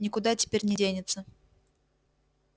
никуда теперь не денется